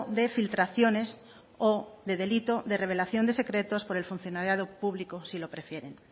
de filtraciones o de delito de revelación de secretos por el funcionariado público si lo prefieren